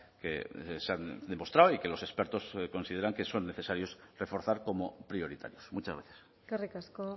que se han demostrado y que los expertos consideran que son necesarios reforzar como prioritarios muchas gracias eskerrik asko